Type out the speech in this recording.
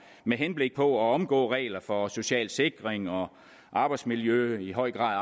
med henblik på at omgå regler for social sikring og arbejdsmiljø og i høj grad